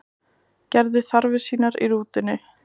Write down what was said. Gerði þarfir sínar í rútunni